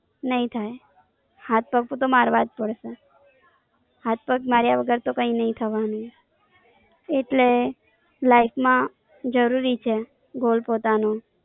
નહિ થાય. હાથ પગ તો મારવા જ પડશે. હાથ પગ માર્યા વગર તો કઈ નઈ થવાનું. એટલે Life માં જરૂરી છે Goal પોતાનો.